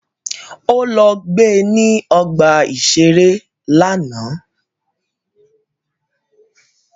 Ó lọ gbe ní ọgbà-ìṣeré lánàá